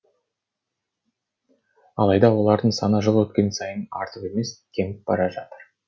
алайда олардың саны жыл өткен сайын артып емес кеміп бара жатыр